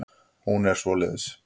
Hún er svoleiðis.